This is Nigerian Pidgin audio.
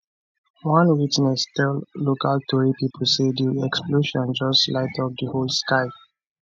one witness tell local tori pipo say di explosion just light up di whole sky